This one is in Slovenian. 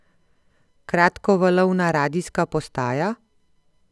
Kratkovalovna radijska postaja?